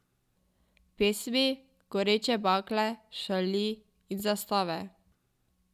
Pesmi, goreče bakle, šali in zastave.